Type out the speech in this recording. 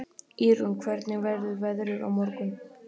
Ýrún, hvernig verður veðrið á morgun?